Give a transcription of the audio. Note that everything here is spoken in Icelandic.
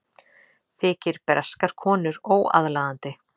Þykir breskar konur óaðlaðandi